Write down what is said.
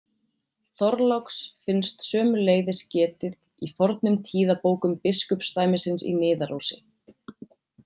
Þorláks finnst sömuleiðis getið í fornum tíðabókum biskupsdæmisins í Niðarósi.